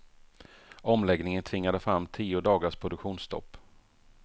Omläggningen tvingade fram tio dagars produktionsstopp.